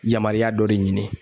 Yamariya dɔ de ɲini.